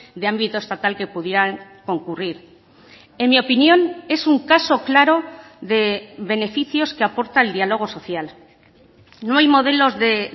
de ámbito estatal que pudieran concurrir en mi opinión es un caso claro de beneficios que aporta el diálogo social no hay modelos de